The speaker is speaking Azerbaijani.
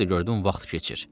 Bir də gördüm vaxt keçir.